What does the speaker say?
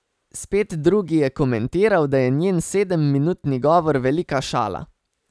Spet drugi je komentiral, da je njen sedemminutni govor velika šala.